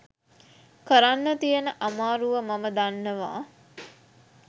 කරන්න තියෙන අමාරුව මම දන්නවා.